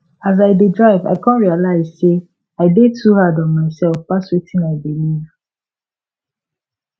as i dey drive i come realize say i dey to hard on myself pass wetin i believe